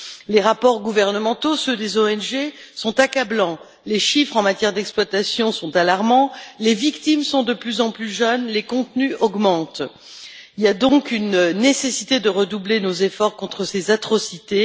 Les rapports gouvernementaux et ceux des ONG sont accablants, les chiffres en matière d'exploitation sont alarmants, les victimes sont de plus en plus jeunes, les contenus augmentent il y a donc une nécessité de redoubler nos efforts contre ces atrocités.